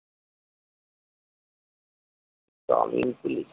Gramin police!